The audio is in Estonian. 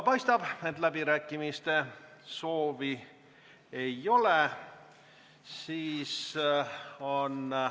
Paistab, et läbirääkimiste soovi ei ole.